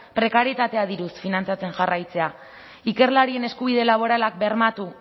prekarietatea diruz finantzatzen jarraitzea ikerlarien eskubide laboralak bermatu